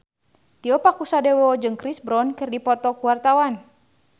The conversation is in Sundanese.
Tio Pakusadewo jeung Chris Brown keur dipoto ku wartawan